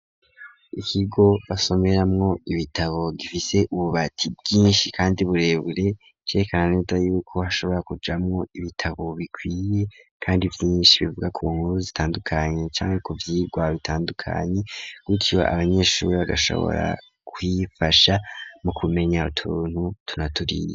Ikigo, basomeramwo ibitabo, gifise ububati bwinshi, kandi burebure, cerekana neza y'uko, hashobora kujamwo, ibitabo bikwiye, kandi vyinshi, bivuga ku nkuru zitandukanye; canke ku vyigwa bitandukanye, gutyo abanyeshuri, bagashobora kwifasha, mu kumenya utuntu utu, na turiya.